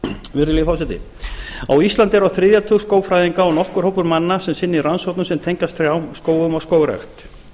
virðulegi forseti á íslandi eru á þriðja tug skógfræðinga og nokkur hópur manna sem sinnir rannsóknum sem tengjast trjám skógum og skógrækt